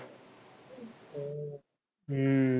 हम्म